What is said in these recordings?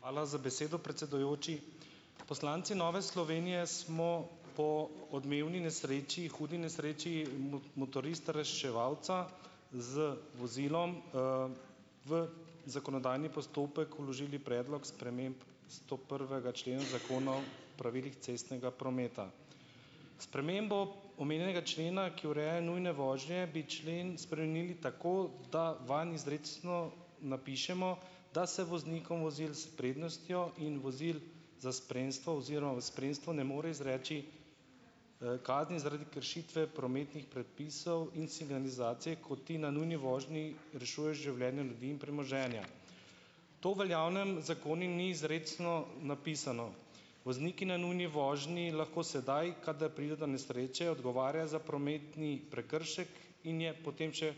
Hvala za besedo, predsedujoči. Poslanci Nove Slovenije smo po odmevni nesreči, hudi nesreči motorista reševalca z vozilom, v zakonodajni postopek vložili predlog sprememb stoprvega člena Zakona o pravilih cestnega prometa. Spremembo omenjenega člena, ki ureja nujne vožnje, bi člen spremenili tako, da vanj izrecno napišemo, da se voznikom vozil s prednostjo in vozil za spremstvo oziroma v spremstvu ne more izreči, kazni zaradi kršitve prometnih predpisov in signalizacije, ko ti na nujni vožnji rešuješ življenje ljudi in premoženja. To v veljavnem zakonu ni izrecno napisano. Vozniki na nujni vožnji lahko sedaj, kadar pride do nesreče, odgovarja za prometni prekršek in je potem še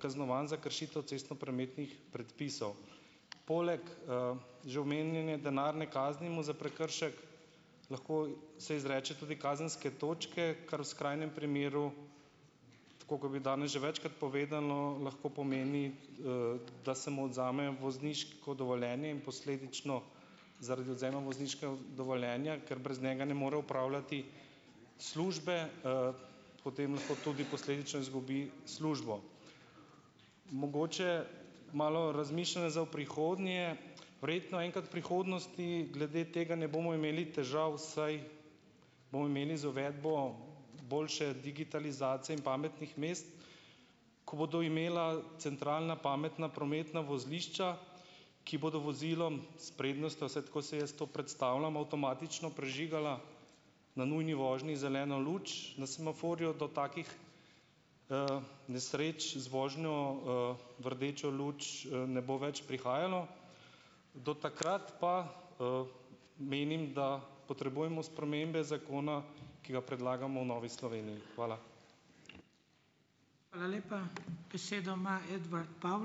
kaznovan za kršitev cestnoprometnih predpisov. Poleg, že omenjene denarne kazni mu za prekršek lahko se izreče tudi kazenske točke, kar v skrajnem primeru, tako kot je bil danes že večkrat povedano, lahko pomeni, da se mu odvzame vozniško dovoljenje in posledično zaradi odvzema vozniškega dovoljenja, ker brez njega ne more opravljati službe, potem lahko tudi posledično izgubi službo. Mogoče malo razmišljanj za v prihodnje. Verjetno enkrat v prihodnosti glede tega ne bomo imeli težav, saj bomo imeli za uvedbo boljše digitalizacije in pametnih mest, ko bodo imela centralna pametna prometna vozlišča, ki bodo vozilom s prednostjo - vsaj tako si jaz to predstavljam - avtomatično prižigala na nujni vožnji zeleno luč na semaforju do takih, nesreč z vožnjo, v rdečo luč, ne bo več prihajalo. Do takrat pa, menim, da potrebujemo spremembe zakona, ki ga predlagamo v Novi Sloveniji. Hvala.